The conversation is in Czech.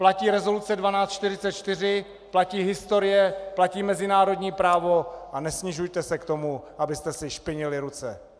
Platí rezoluce 1244, platí historie, platí mezinárodní právo a nesnižujte se k tomu, abyste si špinili ruce.